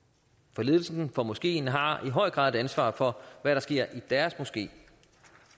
for ledelsen af moskeen har i høj grad ansvaret for hvad der sker i deres moské